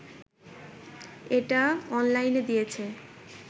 এটা অনলাইনে দিয়েছে